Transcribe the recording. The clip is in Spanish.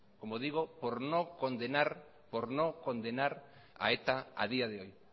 por no condenar a eta a día de hoy